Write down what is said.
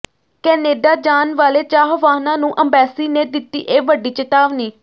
Canada ਜਾਣ ਵਾਲੇ ਚਾਹਵਾਨਾਂ ਨੂੰ ਅੰਬੈਸੀ ਨੇ ਦਿੱਤੀ ਇਹ ਵੱਡੀ ਚੇਤਾਵਨੀ